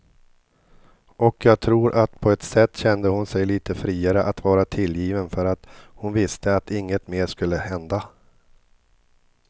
Och jag tror att på ett sätt kände hon sig lite friare att vara tillgiven för att hon visste att inget mer skulle hända.